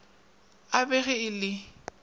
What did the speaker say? a bela ge e le